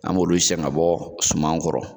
An b'o de siɲɛ ka bɔ suman kɔrɔ